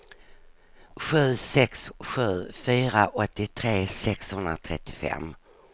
sju sex sju fyra åttiotre sexhundratrettiofem